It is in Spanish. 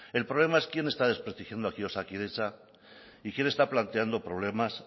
el problema es quién está desprestigiando aquí osakidetza y quién está planteando problemas